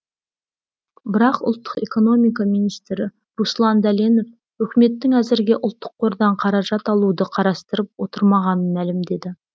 бірақ ұлттық экономика министрі руслан дәленов үкіметтің әзірге ұлттық қордан қаражат алуды қарастырып отырмағанын мәлімдеді